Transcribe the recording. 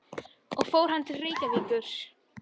Og fór hann þá til Reykjavíkur?